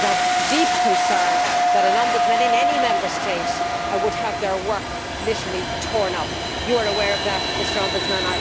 It is of deep concern that an Ombudsman in any Member State would have their work literally torn up. You are aware of that, Mr Ombudsman.